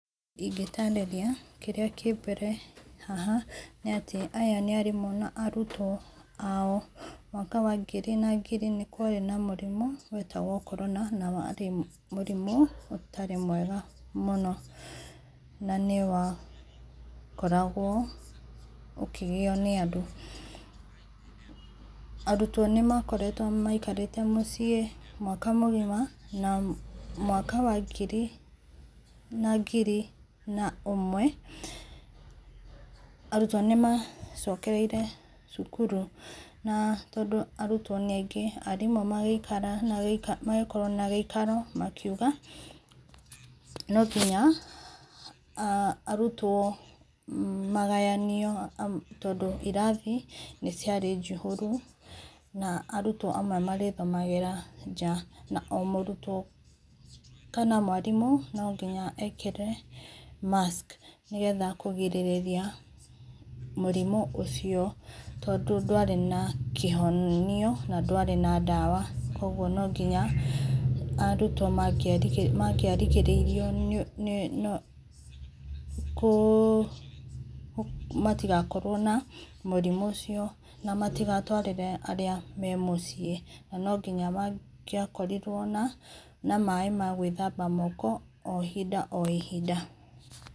Ingĩtarĩria kĩrĩa kĩmbere haha nĩ atĩ aya nĩ arĩmũ na arũtwo ao mwaka wa ngiri na ngiri nĩ kwarĩ na mũrimũ wetagwo Corona na warĩ mũrĩmũ ũtarĩ mwega mũno na nĩ wakoragwo ũkĩgĩo nĩ andũ, arũtwo nĩmakoretwo maikarĩte mũciĩ mwaka mũgima na mwaka wa ngiri na ngiri na ũmwe, arũtwo nĩ macokereĩre cũkũrũ na tondũ arũtwo nĩ aingĩ arimũ magĩikara magĩkorwo na gĩikario makĩũga no nginya a arũtwo magayanio tondũ irathi na arũtwo amwe marĩthomagĩra nja na o mũrũtwo kana mwarimũ nonginya ekĩre mask nĩgetha kũgĩrĩria mũrimũ ũcio tondũ ndwarĩ na kĩhonio na ndwarĩ na dawa kũogũo arũtwo mangĩarigĩrĩirio nĩ kũ matigakorwo na mũrimũ ũcio na matiagatwarĩre arĩa memũ ciĩ na no ngĩnya ma ngĩakorirwo na maĩ magwĩthamba moko o ihĩnda o ihĩnda.